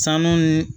Sanu